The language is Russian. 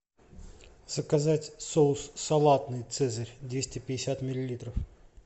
заказать соус салатный цезарь двести пятьдесят миллилитров